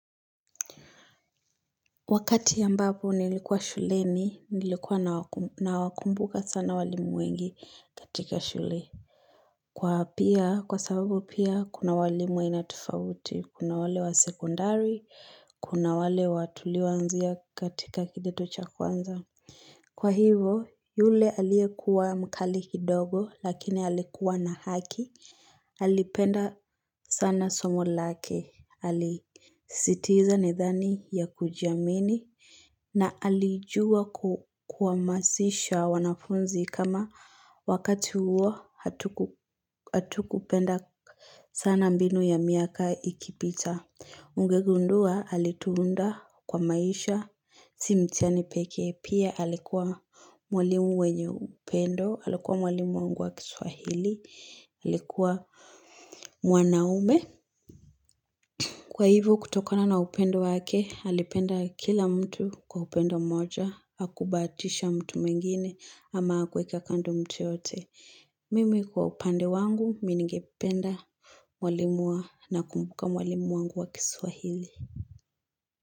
Wakati ambapo nilikuwa shuleni nilikuwa na wakumbuka sana walimu wengi katika shule Kwa pia kwa sababu pia kuna walimu aina tofauti kuna wale wa sekondari kuna wale wa tulio anzia katika kidato cha kwanza Kwa hivo yule aliyekua mkali kidogo lakini alikuwa na haki alipenda sana somo lake alisisitiza nidhani ya kujiamini na alijua kuwa kuhamasisha wanafunzi kama wakati huo hatukupenda sana mbinu ya miaka ikipita. Ungegundua alituunda kwa maisha. Si mitiani pekee pia alikuwa mwalimu mwenye upendo. Alikuwa mwalimu wangu wa kiswahili. Alikuwa mwanaume. Kwa hivyo kutokana na upendo wake, alipenda kila mtu kwa upendo mmoja, hakubahatisha mtu mwingine ama hakuweka kando mtu yoyote. Mimi kwa upande wangu, mii ningependa walimu na kumbuka mwalimu wangu wa kiswahili.